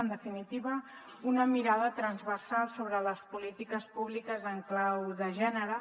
en definitiva una mirada transversal sobre les polítiques públiques en clau de gènere